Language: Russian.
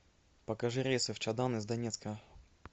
покажи рейсы в чадан из донецка